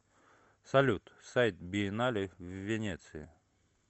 салют сайт биеннале в венеции